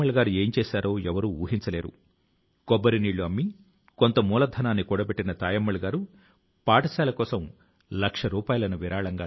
యాదాద్రి భువనగిరి జిల్లా రామన్నపేట మండలం లోని ఈ గ్రంథాలయం లో దాదాపు 2 లక్షల పుస్తకాలు ఉన్నాయి